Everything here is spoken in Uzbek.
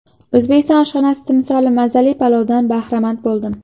O‘zbek oshxonasi timsoli mazali palovdan bahramand bo‘ldim.